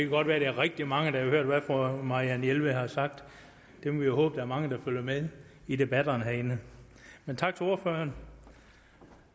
godt være at der er rigtig mange der har hørt hvad fru marianne jelved har sagt vi må håbe er mange der følger med i debatterne herinde tak til ordføreren